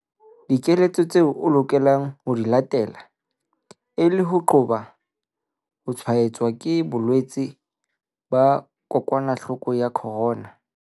Dikeletso tseo o lokelang ho di latela e le ho qoba ho tshwaetswa ke bolwetse ba kokwanahloko ya corona